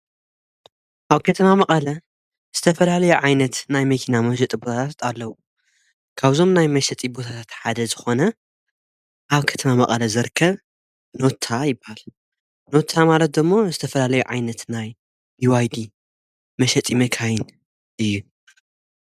ኣብ ከተማ መቀለ ዝተፈላለዮ ዓይነት ናይ መኪና መሸጢ ቦታታት ኣለዉ። ካብዞም ናይ መሸጢ ቦታታት ሓደ ዝኾነ ኣብ ከተማ መቀለ ዝርከብ ኖታ ይበሃል። ኖታ ማለት ዶሞ ዝተፈላለዩ ዓይነት ናይ ቢዋይዲ መሸጢ መካይን እዩ።